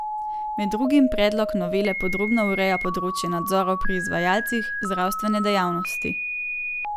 Med drugim predlog novele podrobno ureja področje nadzorov pri izvajalcih zdravstvene dejavnosti.